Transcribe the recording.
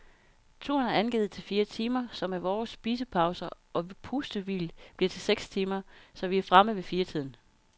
Turen er angivet til fire timer, som med vore spisepauser og pustehvil bliver til seks timer, så vi er fremme ved fire tiden.